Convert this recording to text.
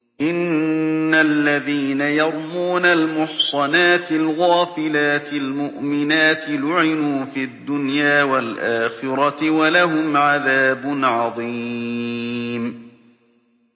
إِنَّ الَّذِينَ يَرْمُونَ الْمُحْصَنَاتِ الْغَافِلَاتِ الْمُؤْمِنَاتِ لُعِنُوا فِي الدُّنْيَا وَالْآخِرَةِ وَلَهُمْ عَذَابٌ عَظِيمٌ